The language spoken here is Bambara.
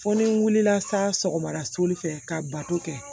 Fo ni n wulila sa sɔgɔmada soli fɛ ka bato kɛ